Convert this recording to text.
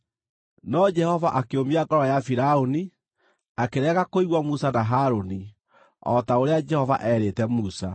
No Jehova akĩũmia ngoro ya Firaũni, akĩrega kũigua Musa na Harũni, o ta ũrĩa Jehova eerĩte Musa.